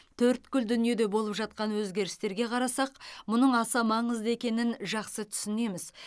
төрткүл дүниеде болып жатқан өзгерістерге қарасақ мұның аса маңызды екенін жақсы түсінеміз